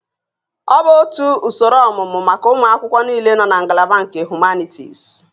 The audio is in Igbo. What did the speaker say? Ọ bụ otu usoro ọmụmụ maka ụmụ akwụkwọ niile nọ na ngalaba nke Humanities